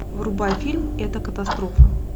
врубай фильм это катастрофа